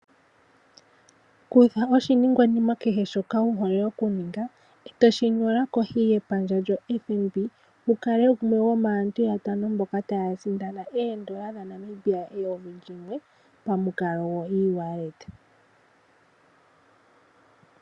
Ninga kehe shoka wu hole okuninga, toshi nyola kohi yepandja lyoFNB wu kale gumwe gomaantu yatano mboka taya sindana oondola dhaNamibia eyovi limwe pamukalo gokutuminwa oshimaliwa kongodhi.